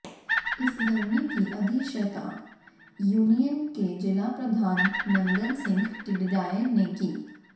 इस धरने की अध्यक्षता यूनियन के जिला प्रधान नंदन सिंह टडियाल ने की